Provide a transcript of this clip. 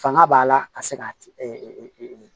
Fanga b'a la ka se ka